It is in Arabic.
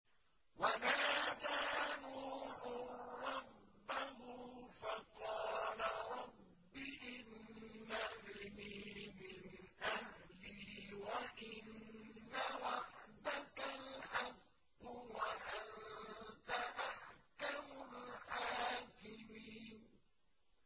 وَنَادَىٰ نُوحٌ رَّبَّهُ فَقَالَ رَبِّ إِنَّ ابْنِي مِنْ أَهْلِي وَإِنَّ وَعْدَكَ الْحَقُّ وَأَنتَ أَحْكَمُ الْحَاكِمِينَ